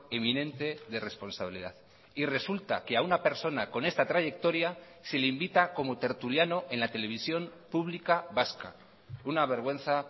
eminente de responsabilidad y resulta que a una persona con esta trayectoria se le invita como tertuliano en la televisión pública vasca una vergüenza